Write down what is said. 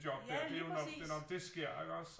Ja lige præcis